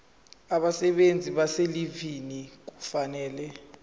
abasebenzi abaselivini kufanele